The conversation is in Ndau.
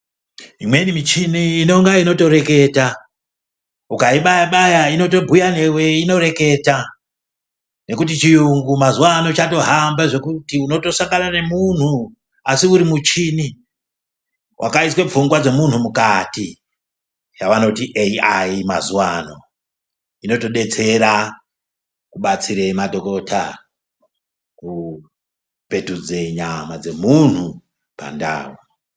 Imweni michini inonga inotoreketa , ukayibaya-baya inotobhuya newe inoreketa nekuti chiyungu mazuva ano chatohamba unotasangana nemunhu asi uri muchini wakaiswa pfungwa dzemunhu mukati yavanoti AI mazuva ano inotodetsera kubatsira madhokota kupetudza nyama dzemunhu pandau.